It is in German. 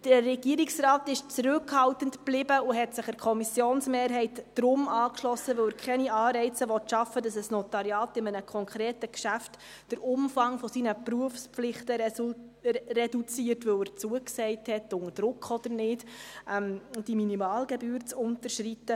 Der Regierungsrat blieb zurückhaltend und hat sich deshalb der Kommissionsmehrheit angeschlossen, weil er keine Anreize schaffen will, dass ein Notariat in einem konkreten Geschäft den Umfang seiner Berufspflichten reduziert, weil er zugesagt hat, unter Druck oder nicht, die Minimalgebühr zu unterschreiten.